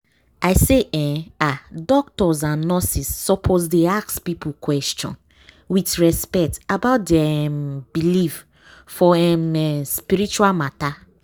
i say eeh ah doctors and nurses suppose dey ask people question with respect about dia um believe for um spiritual matter.